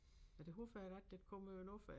Ja det håber jeg da der kommer jo noget fra